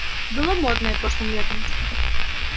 было модное прошлым летом